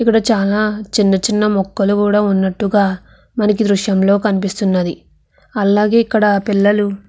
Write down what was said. ఇక్కడ మనకి చిన్న చిన్న మోకాలు కూడా కనపడుతునాయి.